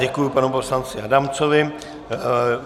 Děkuji panu poslanci Adamcovi.